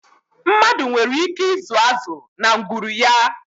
Mmadụ nwere ike ịzụ azụ na ngwuru ya.